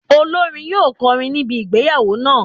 Olórin yóò kọrin ní ibi ìgbéyàwó náà.